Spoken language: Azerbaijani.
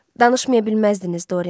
Danışmaya bilməzdiniz Dorian.